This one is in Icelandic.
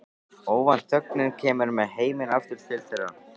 Óvænt þögnin kemur með heiminn aftur til þeirra.